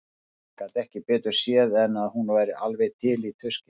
Hann gat ekki betur séð en að hún væri alveg til í tuskið.